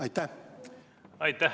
Aitäh!